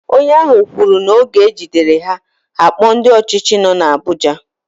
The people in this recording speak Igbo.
Onye ahu kwuru na oge ejidere ha, ha akpo ndi ochichi no na Abuja.